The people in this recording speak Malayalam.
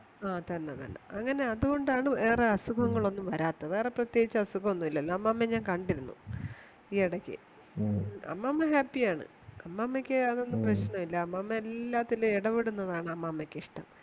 ആ തന്നെതന്നെ അങ്ങനെ ആ ഏറെ അതുകൊണ്ടാണ് വേറെ അസുഖങ്ങളൊന്നും വരാത്തത് വേറെ പ്രതേകിച്ചു അസുഖമൊന്നുമില്ലല്ലോ അമ്മാമയെ ഞാൻ കണ്ടിരുന്നു ഈയടക്ക് അമ്മാമ happy യാണ് അമ്മാമയ്ക്കതൊന്നും പ്രശ്നോല്ല അമ്മാമ എല്ലാത്തിലും ഇടപെടുന്നതാണ് അമ്മമക്കിഷ്ടം